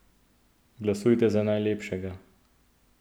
Glasujte za najlepšega!